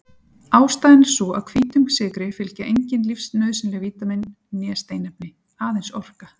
Ástæðan er sú að hvítum sykri fylgja engin lífsnauðsynleg vítamín né steinefni- aðeins orka.